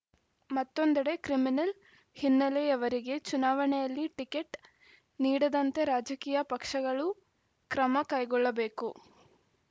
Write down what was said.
ಮತ್ತೊಂದೆಡೆ ಕ್ರಿಮಿನಲ್‌ ಹಿನ್ನೆಲೆಯವರಿಗೆ ಚುನಾವಣೆಯಲ್ಲಿ ಟಿಕೆಟ್‌ ನೀಡದಂತೆ ರಾಜಕೀಯ ಪಕ್ಷಗಳು ಕ್ರಮ ಕೈಗೊಳ್ಳಬೇಕು